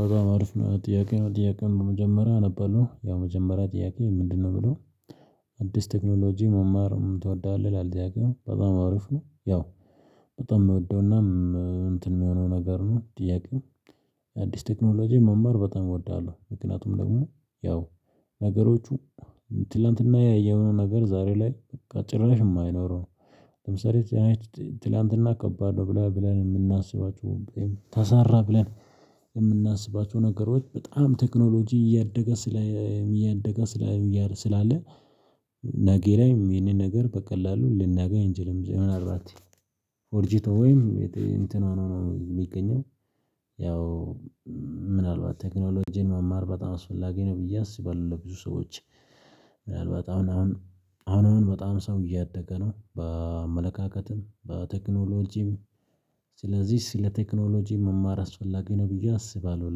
በጣም አሪፍ ነው ጥያቄ ነው? ጥያቄም በመጀመሪያ ነበርኩ ያው መጀመሪያ ጥያቄ ምንድነው ብሎ? አዲስ ቴክኖሎጂ መማርም ትወዳለህ ላልደያውቅም በጣም አሪፍ ነው። ያው በጣም የምወደውና እንትን የሚሆነው ነገር ነው ጥያቄው። አዲስ ቴክኖሎጂ መማር በጣም እወዳለሁ ምክንያቱም ደግሞ ያው ነገሮቹ ትላንትና ያየውን ነገር ዛሬ ላይ ጭራሽ የማይኖረው። ለምሳሌ ትላንትና ከባድ ነው ብለን የምናስባቸው ተሰራ ብለን የምናስባቸው ነገሮች በጣም ቴክኖሎጂ እያደገ ስላለ። ነገ ላይም ይሄንን ነገር በቀላሉ ልናገኝ እንጂ ለምን አላት ነው ኦርጂቶ ወይም እንትን ነው የሚገኘው? ያው ምናልባት ቴክኖሎጂን መማር በጣም አስፈላጊ ነው ብዬ አስባለሁ ለብዙ ሰዎች። ምናልባት አሁን አሁን አሁን በጣም ሰው እያደገ ነው በአመለካከትም በቴክኖሎጂም። ስለዚህ ስለ ቴክኖሎጂ መማር አስፈላጊ ነው ብዬ አስባለሁ።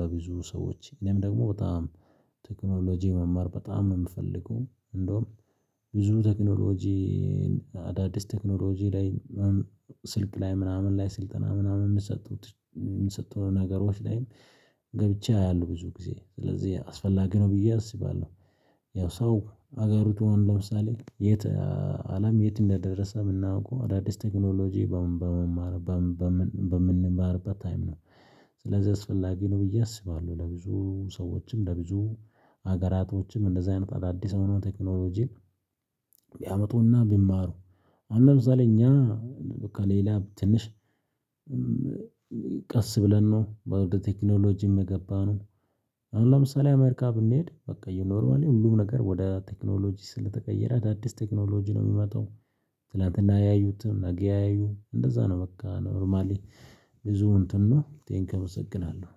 ለብዙ ሰዎች እኔም ደግሞ በጣም ቴክኖሎጂ መማር በጣም የምፈልገው እንደውም ብዙ ቴክኖሎጂ። አዳዲስ ቴክኖሎጂ ላይ ስልክ ላይ ምናምን ላይ ስልጠና ምናምን የምትሰጡት የምትሰጡት ነገሮች ላይም ገብቼ አያሉ ብዙ ጊዜ ስለዚህ አስፈላጊ ነው ብዬ አስባለሁ። ያው ሰው ሀገሩ ትሆን ለምሳሌ የት አለም የት እንደደረሰ የምናውቀው አዳዲስ ቴክኖሎጂ? በምንማርበት ታይም ነው ስለዚህ አስፈላጊ ነው ብዬ አስባለሁ። ለብዙ ሰዎችም ለብዙ ሀገራቶችም እንደዚህ አይነት አዳዲስ አመኑ ቴክኖሎጂን ቢያመጡና ቢማሩ። አሁን ለምሳሌ እኛ በቃ ሌላ ትንሽ ቀስ ብለን ነው በወርደ ቴክኖሎጂ የምገባን። አሁን ለምሳሌ አሜሪካ ብንሂድ በቃ እዩ ዩኖርማሊ ሁሉም ነገር ወደ ቴክኖሎጂ ስለተቀየረ አዳዲስ ቴክኖሎጂ ነው የሚመጣው። ስላንተ እናያዩትም አገያዩ እንደዛ ነው በቃ ኖርማሊ። ብዙ እንትኑ ቴንኪው እመሰግናለሁ